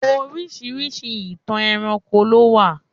Orisirisi ìtàn ẹranko lo wa.